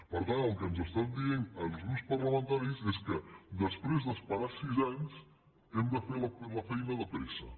per tant el que ens estan dient als grups parlamentaris és que després d’esperar sis anys hem de fer la feina de pressa